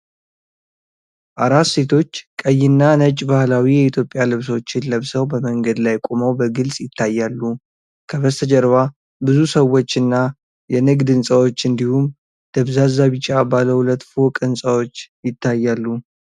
አራት ሴቶች ቀይና ነጭ ባህላዊ የኢትዮጵያ ልብሶችን ለብሰው በመንገድ ላይ ቆመው በግልጽ ይታያሉ። ከበስተጀርባ ብዙ ሰዎች እና የንግድ ሕንፃዎች እንዲሁም ደብዛዛ ቢጫ ባለ ሁለት ፎቅ ሕንፃዎች ይታያሉ።